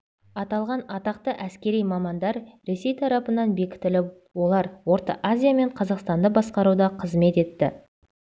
аталған атақты әскери мамандар ресей тарапынан бекітіліп олар орта азия мен қазақстанды басқаруда қызмет етті